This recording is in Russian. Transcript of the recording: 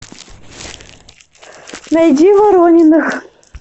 найди ворониных